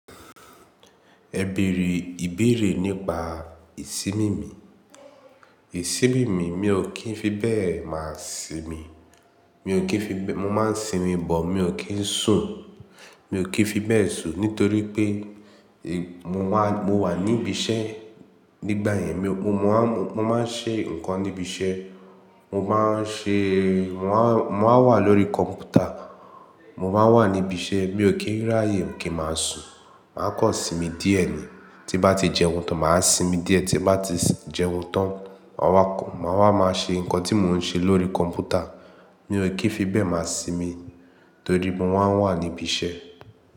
Ẹ bèrè ìbéèrè nípa ìsinmi mi. Ìsinmi mi, mi ò kí ń fi bẹ́ẹ̀ máa sinmi. Mo máa ń sinmi but, mi ò kí ń sùn. Mi ò kí ń fi bẹ́ẹ̀ sùn nítorí pé mo wà níbi iṣẹ́. Nígbà yẹn mo máa ń ṣe nǹkan níbi iṣẹ́. Mo máa wà lórí kọ̀m̀pútà. Mo máa wà níbi iṣẹ́. Mi ò kí ń ráyè kí ń máa sùn. Màá kọ́ sinmi díẹ̀ ni. Tí bá ti jẹun tán, màá sinmi díẹ̀. Tí bá ti jẹun tán, màá wá máa ṣe nǹkan tí mò ń ṣe lórí kọ̀m̀pútà. Mi ò kí ń fi bẹ́ẹ̀ máa sinmi torí mo máa ń wà níbi iṣẹ́